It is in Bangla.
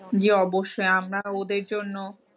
জি অবশ্যই আপনারা ওদের জন্য